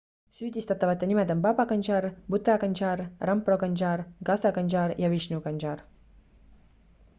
süüdistatavate nimed on baba kanjar bhutha kanjar rampro kanjar gaza kanjar ja vishnu kanjar